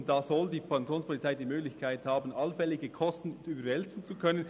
Hier soll die Kantonspolizei die Möglichkeit haben, allfällige Kosten überwälzen zu können,